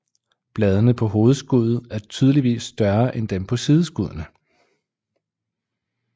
Bladene på hovedskuddet er tydeligt større end dem på sideskuddene